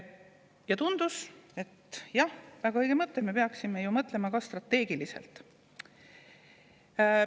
Ja tundus, et see oli väga õige mõte, sest me peaksime ju mõtlema ka strateegiliselt.